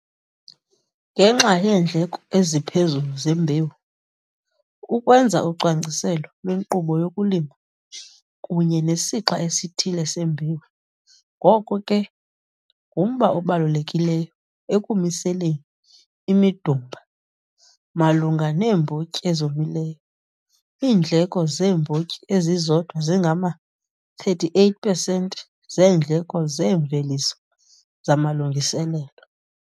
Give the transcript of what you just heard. Ngenxa yeendleko eziphezulu zembewu, ukwenza ucwangciselo lwenkqubo yokulima kunye nesixa esithile sembewu, ngoko ke ngumba obalulekileyo ekumiliseleni imidumba, Malunga neembotyi ezomileyo, iindleko zeembotyi ezizodwa zingama 38 pesenti zeendleko zeemveliso zamalungiselelo.